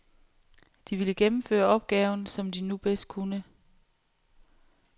De ville gennemføre opgaven, som de nu bedst kunne.